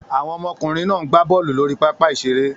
Àwọn ọmọkùnrin náà ń gb bọ́ọ́lù lórí pápá-ìṣeré.